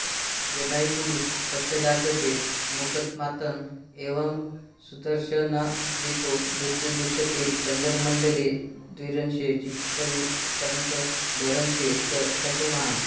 यथाहि पुरुषः पश्येदादर्शे मुखमात्मनः एवं सुदर्शनद्वीपो दृश्यते चन्द्रमण्डले द्विरंशे पिप्पलस्तत्र द्विरंशे च शशो महान्